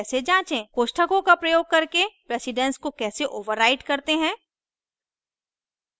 कोष्ठकों का प्रयोग करके precedence को कैसे override करते हैं